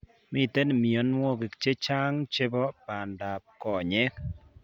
Miten mionwogik chechang chebo bandaab konyek